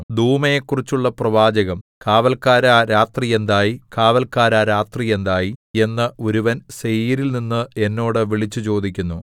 ദൂമയെക്കുറിച്ചുള്ള പ്രവാചകം കാവല്ക്കാരാ രാത്രി എന്തായി കാവല്ക്കാരാ രാത്രി എന്തായി എന്ന് ഒരുവൻ സേയീരിൽനിന്ന് എന്നോട് വിളിച്ചുചോദിക്കുന്നു